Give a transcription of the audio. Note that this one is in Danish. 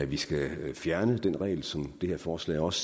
vi skal fjerne den regel som det her forslag også